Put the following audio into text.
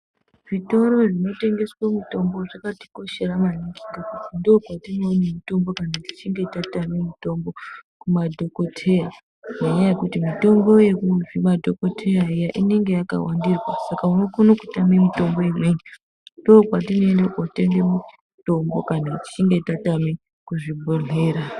Zvitoro zvinotengeswa mitombo zvakatikoshera maningi ngekuti ndokwatinoona mitombo kana tichinge tatama mitombo kumadhokodheya ngenyaya yekuti mitombo yekumadhokodheya iyani inenge yakawandirwa Saka unokona kutama mitombo imweni ndokwatinoenda kotenga mitombo kana tichinge tatama kuzvibhehlera.